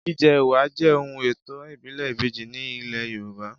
Jíjẹ ẹwà jẹ ohun ètò ìbílè ìbejí ní ilé Yorùbá